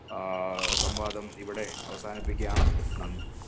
അഹ് സംവാദം ഇവിടെ അവസാനിപ്പിക്കയാണ് നന്ദി